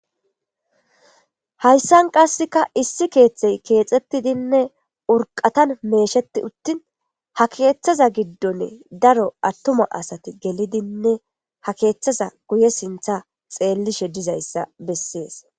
hayssan qasseka issi keeththey keexettidinne urqatan meesheti uttin ha keeththaza giddone daro attuma asati gelidinne ha keeththaza guye sintha xeellishe dizayssa bessees